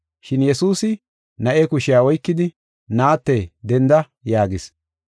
Shin Yesuusi na7e kushiya oykidi, “Naatte denda” yaagis.